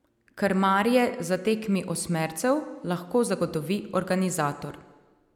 Krmarje za tekmi osmercev lahko zagotovi organizator.